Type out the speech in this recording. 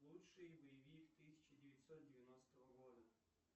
лучший боевик тысяча девятьсот девяностого года